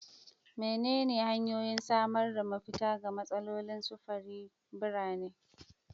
Wadanne hanyoyin samar da mafita ga matsalolin sufurin birane?